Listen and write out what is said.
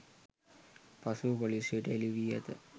පසුව පොලිසියට හෙළිවී ඇත